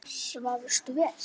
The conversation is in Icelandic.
Svafstu vel?